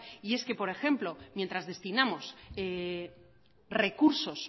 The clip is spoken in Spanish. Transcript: y es que por ejemplo mientras destinamos recursos